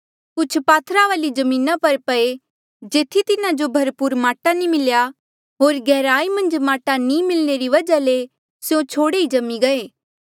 कुछ पात्थरा वाली जमीना पर पये जेथी तिन्हा जो भरपूर माटा नी मिल्या होर गैहराई मन्झ माटा नी मिलणे री वजहा ले स्यों छोड़े ई जम्मी गये